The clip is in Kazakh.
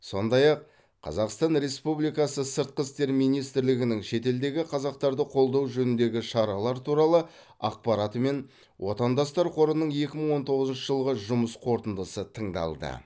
сондай ақ қазақстан республикасы сыртқы істер министрлігінің шетелдегі қазақтарды қолдау жөніндегі шаралар туралы ақпараты мен отандастар қорының екі мың он тоғызыншы жылғы жұмыс қорытындысы тыңдалды